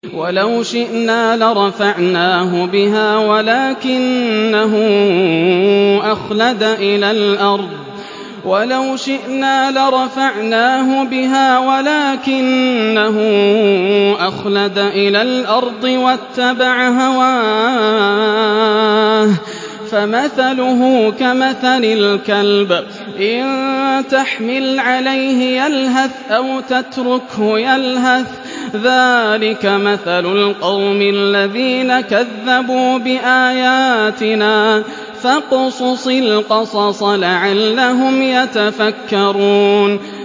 وَلَوْ شِئْنَا لَرَفَعْنَاهُ بِهَا وَلَٰكِنَّهُ أَخْلَدَ إِلَى الْأَرْضِ وَاتَّبَعَ هَوَاهُ ۚ فَمَثَلُهُ كَمَثَلِ الْكَلْبِ إِن تَحْمِلْ عَلَيْهِ يَلْهَثْ أَوْ تَتْرُكْهُ يَلْهَث ۚ ذَّٰلِكَ مَثَلُ الْقَوْمِ الَّذِينَ كَذَّبُوا بِآيَاتِنَا ۚ فَاقْصُصِ الْقَصَصَ لَعَلَّهُمْ يَتَفَكَّرُونَ